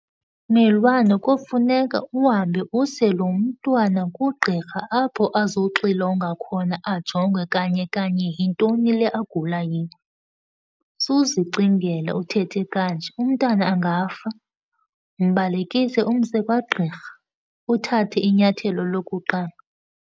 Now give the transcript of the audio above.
Mmelwane, kofuneka uhambe use lo mntwana kugqirha apho azoxilongwa khona, ajongwe kanye kanye yintoni le agula yiyo. Suzicingela, uthethe kanje, umntana angafa. Mbalekise umse kwagqirha, uthathe inyathelo lokuqala.